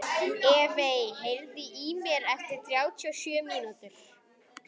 Evey, heyrðu í mér eftir þrjátíu og sjö mínútur.